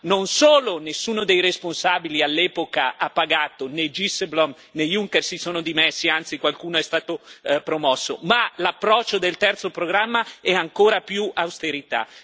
Ma non solo nessuno dei responsabili all'epoca ha pagato, né Dijsselbloem né Juncker si sono dimessi anzi, qualcuno è stato promosso ma l'approccio del terzo programma è ancora più austerità.